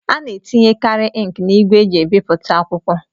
A na-etinyekari inki n'ígwè eji ebipụta akwụkwọ.